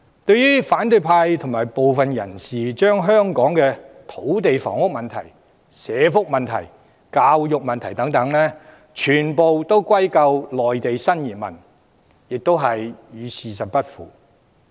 對於反對派及部分人士把香港的土地房屋、社會福利、教育等問題全部歸咎於內地新移民，亦與事實不符。